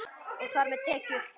Og þar með tekjur.